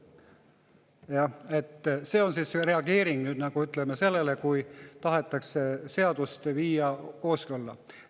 Jah, see on reageering sellele, kui tahetakse seadust kooskõlla viia.